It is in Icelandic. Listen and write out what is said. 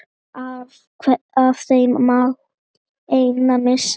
Af þeim mátti enginn missa.